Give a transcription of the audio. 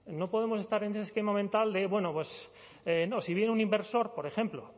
no podemos estar en ese esquema mental de bueno pues no si viene un inversor por ejemplo